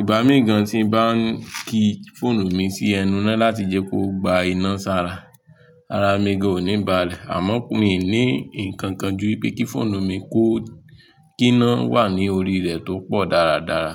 Ìgbà míì gan tí ń bá ń ki fóònù mi sí ẹnu ina láti jẹ́ kó gba iná sára, ara mi gan o ní balè. Àmọ́ mo ní ǹkan kan ju wipé kí fóònù mi kó kí iná wà ní orí rẹ̀ tó pọ̀ dáradára.